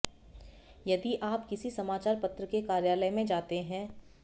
यदि आप किसी समाचार पत्र के कार्यालय में जाते हैं